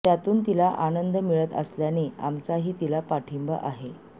त्यातून तिला आनंद मिळत असल्याने आमचाही तिला पाठिंबा आहे